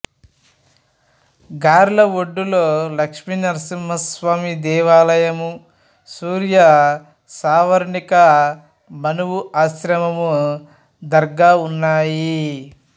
గార్లఒడ్డులో లక్షీనరసింహస్వామి దేవాలయం సూర్య సావర్ణిక మనవు ఆశ్రమము దర్గా ఉన్నాయి